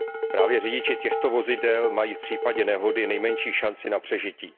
Právě řidiči těchto vozidel mají v případě nehody nejmenší šanci na přežití.